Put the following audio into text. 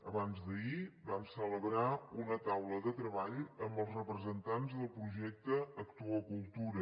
abans d’ahir vam celebrar una taula de treball amb els representants del projecte actua cultura